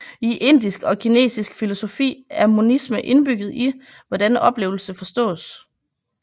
I indisk og kinesisk filosofi er monisme indbygget i hvordan oplevelse forstås